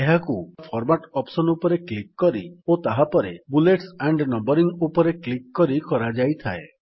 ଏହାକୁ format option ଉପରେ click କରି ଓ ତାହାପରେ ବୁଲେଟ୍ସ ଆଣ୍ଡ୍ ନମ୍ୱରିଙ୍ଗ୍ ଉପରେ କ୍ଲିକ୍ କରି କରାଯାଇଥାଏ